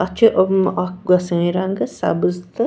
.اَتھ چُھ ام اکھ گۄسٲنۍ رنٛگ سبٕزتہٕ